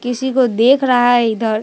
किसी को देख रहा है इधर।